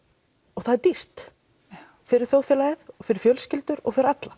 og það er dýrt fyrir þjóðfélagið fyrir fjölskyldur og fyrir alla